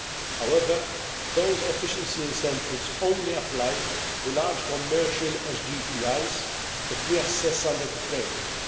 However, those efficiency incentives only apply to large commercial SGEIs that we assess under the framework.